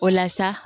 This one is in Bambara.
O la sa